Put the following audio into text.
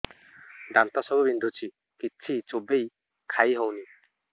ଦାନ୍ତ ସବୁ ବିନ୍ଧୁଛି କିଛି ଚୋବେଇ ଖାଇ ହଉନି